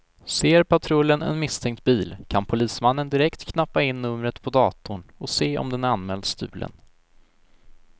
Ser patrullen en misstänkt bil, kan polismannen direkt knappa in numret på datorn och se om den är anmäld stulen.